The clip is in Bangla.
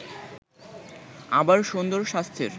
আবার সুন্দর স্বাস্থ্যের